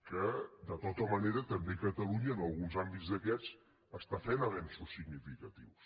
que de tota manera també catalunya en alguns àmbits d’aquests estan fent avenços significatius